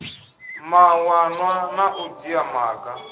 mawanwa na u dzhia maga